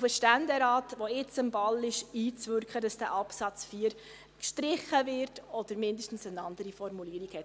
den Ständerat, der jetzt am Ball ist, einzuwirken – so machen auch wir es –, damit dieser Absatz 4 gestrichen wird oder zumindest eine andere Formulierung erhält.